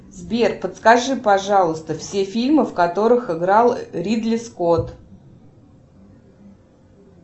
сбер подскажи пожалуйста все фильмы в которых играл ридли скотт